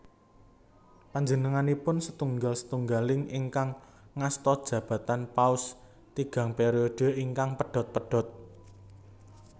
Panjenenganipun setunggal setunggaling ingkang ngasta jabatan Paus tigang periode ingkang pedhot pedhot